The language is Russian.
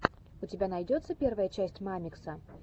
у тебя найдется первая часть мамикса